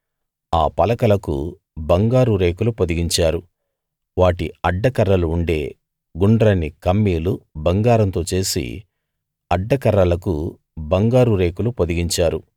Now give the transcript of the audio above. ఆ పలకలకు బంగారు రేకులు పొదిగించారు వాటి అడ్డకర్రలు ఉండే గుండ్రని కమ్మీలు బంగారంతో చేసి అడ్డకర్రలకు బంగారు రేకులు పొదిగించారు